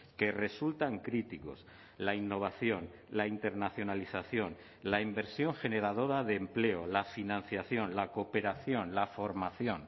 que resultan críticos la innovación la internacionalización la inversión generadora de empleo la financiación la cooperación la formación